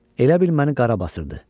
Elə bil məni qarabasır.